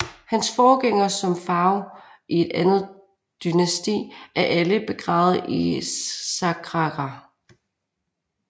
Hans forgængere som farao i andet dynasti er alle begravet i Saqqara